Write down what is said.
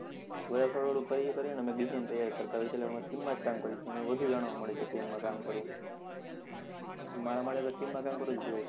બંધ થોડું થોડું કરી કરીને અમે design તૈયાર કરતા હોય છે એટલે team માં જ કામ કરીએ છીએ અમને વધુ જાણવા મળે છે team માં કામ કરવું મારા માટે team માં કામ કરવું best છે.